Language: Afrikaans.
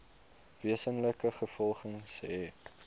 wesenlike gevolge hê